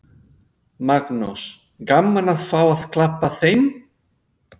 Magnús: Gaman að fá að klappa þeim?